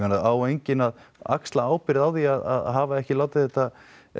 á enginn að axla ábyrgð á því að hafa ekki látið þetta